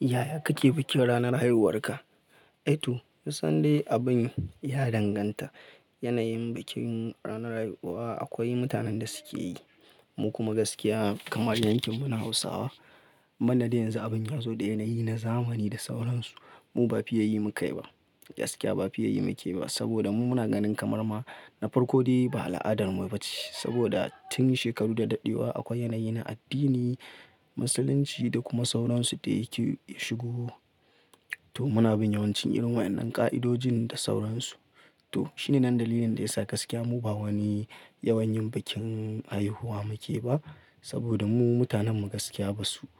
Yaya kake bikin ranar haihuwarka? Yaya kake bikin ranar haihuwarka? Yanayin bikin ranar haihuwa, akwai mutanen da suke yi, mu kuma gaskiya kamar yankin mu na Hausawa, muna da yanzu abin ya zo da yanayi na zamani da sauransu, mu ba fiya yi muke ba. Gaskiya ba fiya yi muke ba saboda, mu muna ganin kamar ma na farko dai ba al'adarmu ba ce. Saboda tun shekaru da daɗewa, akwai yanayi na addini, musulunci da kuma sauransu da yake shigo. To muna bin yawancin irin waɗannan ka'idojin da sauransu. To shine nan dalilin da yasa gaskiya mu ba wani yawan yin bikin haihuwa muke ba, saboda mu mutanen mu gaskiya ba su,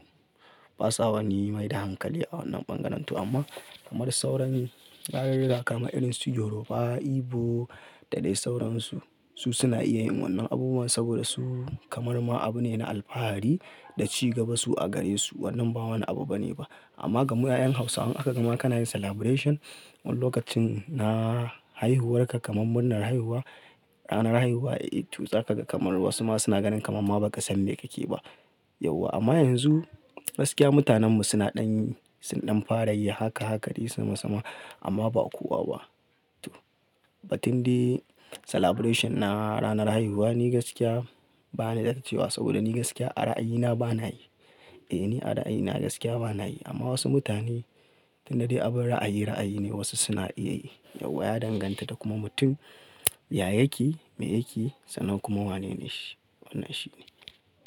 ba sa wani mai da hankali a wannan bangaren tu amma kamar sauran, yarurruwa kamar irin su Yoruba, Igbo da dai sauransu, su suna iya yin wa'innan abubuwan saboda su kamar ma abu ne na alfahari, da ci gaba, su a gare su. Wannan ba wani abu bane ba. Amma ga mu 'ya'yan Hausawa, in aka gama kana yin celebration wani lokacin na haihuwarka, kamar murnar haihuwa, ranar haihuwa, to za ka kamar wasu ma suna ganin kamar ma ba ka san me kake yi ba. Yauwa amma yanzu gaskiya mutanen mu suna ɗan, suna ɗan fara yi haka haka dai sama sama, amma ba a kuwa ba. To, ba tun dai celebration na ranar haihuwa ni gaskiya ba ni da dace wa saboda ni gaskiya a ra'ayina ba na yi. Eh ni a ra'ayina gaskiya ba na yi amma wasu mutane tun da dai abin ra'ayi, ra'ayi ne wasu suna iya yi. Yauwa ya danganta da kuma mutum, yayake, me yake, sannan kuma wanene shi. Wannan shine.